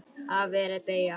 Afi er að deyja.